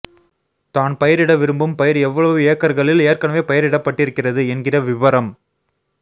தான் பயிரிட விரும்பும் பயிர் எவ்வளவு ஏக்கர்களில் ஏற்கனவே பயிரிடபட்டிருக்கிறது என்கிற விபரம்